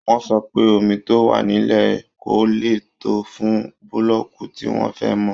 Wọ́n sọ pé omi tó wà nílẹ̀ kò lè tó fún búlọ́ọ̀kù tí wọ́n fẹ́ mọ́